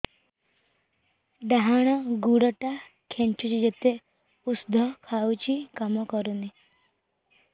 ଡାହାଣ ଗୁଡ଼ ଟା ଖାନ୍ଚୁଚି ଯେତେ ଉଷ୍ଧ ଖାଉଛି କାମ କରୁନି